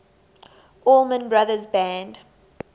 allman brothers band